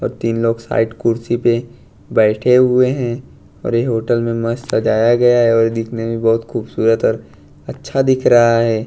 और तीन लोग साइट कुर्सी पे बैठे हुए हैं और यह होटल में मस्त सजाया गया है और दिखने में बहुत खूबसूरत और अच्छा दिख रहा है।